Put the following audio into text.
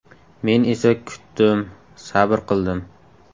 Men esa kutdim, sabr qildim.